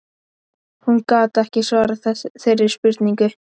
Hún gat ekki svarað þeirri spurningu.